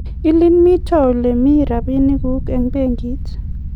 Ilin mito ole mie rabinik guk eng' benkit